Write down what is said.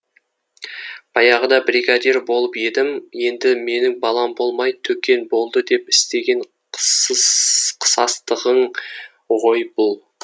баяғыда бригадир болып едім енді менің балам болмай төкен болды деп істеген қысастығың ғой бұл